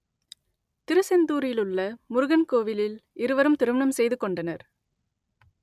திருசெந்தூரிலுள்ள முருகன் கோவிலில் இருவரும் திருமணம் செய்துகொண்டனர்